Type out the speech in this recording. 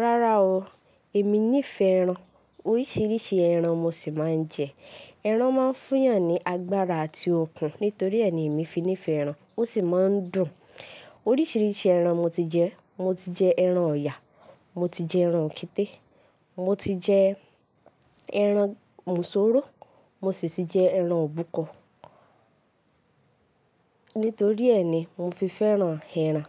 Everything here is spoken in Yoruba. Rárá o, èmi nífẹ̀ẹ́ ẹran. Oríṣiríṣi ẹran mo sì máa ń jẹ. Ẹran máa ń fún yàn ní agbára àti okun. Nítorí ẹ́ ni èmi fi nífẹ̀ẹ́ ẹran, ó sì máa ń dùn. Oríṣiríṣi ẹran mo ti jẹ. Mo ti jẹ ẹran ọ̀yà, mo ti jẹ ẹran òketé, mo ti jẹ ẹran mùsúrò, mo sì ti jẹ ẹran òbúkọ. Nítorí ẹ́ ni mo fi fẹ́ràn ẹran.